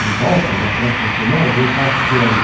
Na volta, na próxima semana, eu passo por aí.